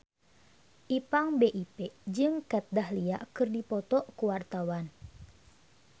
Ipank BIP jeung Kat Dahlia keur dipoto ku wartawan